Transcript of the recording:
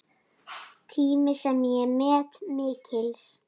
Tími sem ég met mikils.